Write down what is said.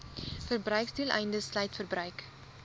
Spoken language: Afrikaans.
verbruiksdoeleindes sluit verbruik